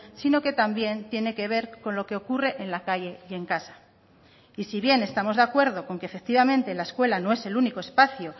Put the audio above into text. sino que también tiene que ver con lo que ocurre en la calle y en casa y si bien estamos de acuerdo con que efectivamente la escuela no es el único espacio